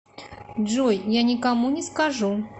джой я никому не скажу